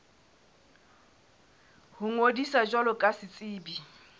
ho ngodisa jwalo ka setsebi